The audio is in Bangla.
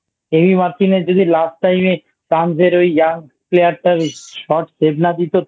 Markin এ যদি Last Time এ France র ওই Young Player টা Shot Save না দিত